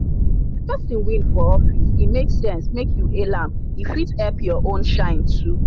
if person win for office e make sense make you hail am e fit help your own shine too.